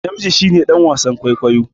Namiji shi ne dan wasan kwaikwayo